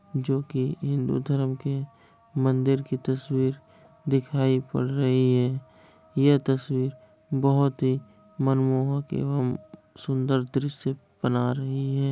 जो कि हिंदू धर्म के मंदिर की तस्वीर दिखाई पड़ रही है। ये तस्वीर बहुत ही मनमोहक एवं सुंदर दृश्य बना रही है।